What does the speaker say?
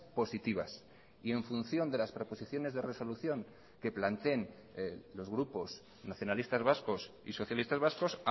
positivas y en función de las proposiciones de resolución que planteen los grupos nacionalistas vascos y socialistas vascos